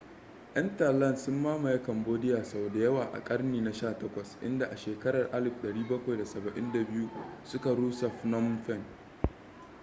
ƴan thailand sun mamaye cambodia sau da yawa a ƙarni na 18 inda a shekarar 1772 suka rusa phnom phen